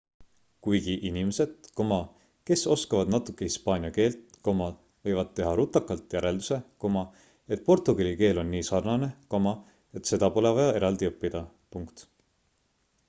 kuigi inimesed kes oskavad natuke hispaania keelt võivad teha rutakalt järelduse et portugali keel on nii sarnane et seda pole vaja eraldi õppida